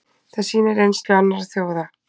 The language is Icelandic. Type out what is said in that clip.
Það sýni reynsla annarra þjóða.